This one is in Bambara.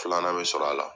Filanan bɛ sɔrɔ a la